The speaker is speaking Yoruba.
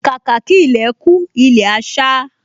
Kàkà kí ilẹ̀ kú, ilẹ̀ á sá